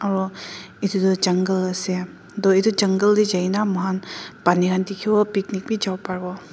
hm itu toh jungle ase itu jungle teh jaigena moihan pani khan dikhiwo aro picnic wii japariwo.